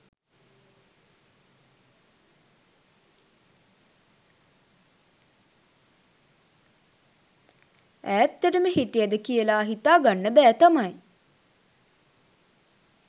ඈත්තටම හිටියද කියලා හිතාගන්න බෑ තමයි